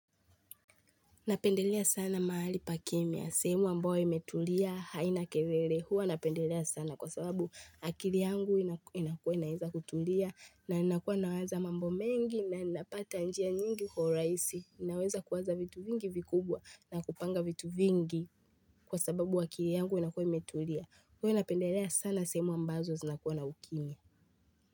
Napendelea sana mahali pa kimia, sehemu ambayo imetulia haina kelele huwa napendelea sana kwa sababu akili yangu inakua inaeza kutulia na nakuwa naweza mambo mengi na ninapata njia nyingi kwa rahisi, inaweza kuwaz a vitu vingi vikubwa na kupanga vitu vingi kwa sababu akili yangu inakuwa imetulia. Huwa napendelea sana sehemu ambazo zinakuwa na ukimya.